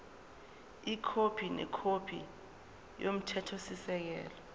ikhophi nekhophi yomthethosisekelo